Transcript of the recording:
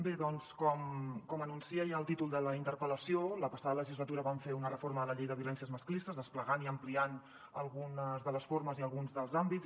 bé doncs com anuncia ja el títol de la interpel·lació la passada legislatura vam fer una reforma de la llei de violències masclistes desplegant i ampliant algunes de les formes i alguns dels àmbits